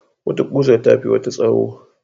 Wata kusar tafi wata tsawo.